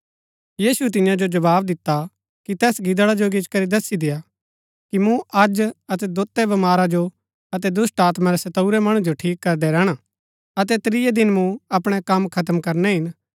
यीशुऐ तियां जो जवाव दिता कि तैस गिदड़ा जो गिचीकरी दसी देआ कि मूँ अज अतै दोतै बमारा जो अतै दुष्‍टात्मा रै सताऊरै मणु जो ठीक करदै रैहणा अतै त्रियै दिन मूँ अपणै कम खत्म करनै हिन